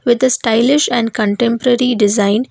with a stylish and contemporary design.